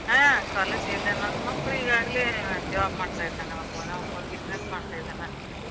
ಹಾ. college ಇಲ್ಲಾ. ನನ್ನ ಮಕ್ಳ ಈಗಾಗಲ್ಲೇ job ಮಾಡ್ತಿದಾನ ಒಬ್ನ್, ಒಬ್ಬನ್ business ಮಾಡ್ತಿದಾನ.